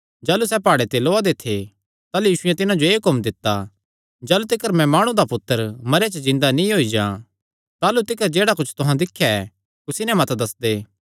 जाह़लू सैह़ प्हाड़े ते लौआ दे थे ताह़लू यीशुयैं तिन्हां जो एह़ हुक्म दित्ता जाह़लू तिकर मैं माणु दा पुत्तर मरेयां च जिन्दा नीं होई जां ताह़लू तिकर जेह्ड़ा कुच्छ तुहां दिख्या ऐ कुसी नैं मत दस्सदे